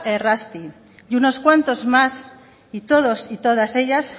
errazti y unos cuantos más y todos y todas ellas